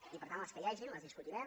i per tant les que hi hagi les discutirem